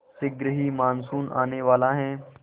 शीघ्र ही मानसून आने वाला है